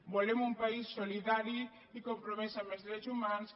volem un país solidari i compromès amb els drets humans